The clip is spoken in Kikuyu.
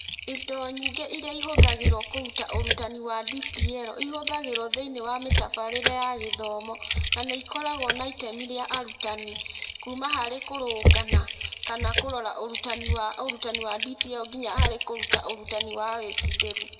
Indo nyingĩ iria ihũthagĩrũo kũruta ũrutani wa DPL ihũthagĩrũo thĩinĩ wa mĩtabarĩre ya gĩthomo na nĩ ikoragwo na itemi rĩa arutani kuuma harĩ kũrũnga na/kana kũrora ũrutani wa ũrutani wa DPL nginya harĩ kũruta ũrutani wa wĩkindĩru.